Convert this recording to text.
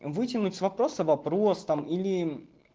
вытянуть с вопроса вопрос там или